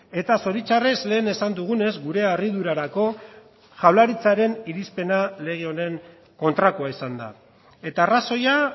eta zoritxarrez lehen esan dugunez gure harridurarako jaurlaritzaren irizpena lege honen kontrakoa izan da eta arrazoia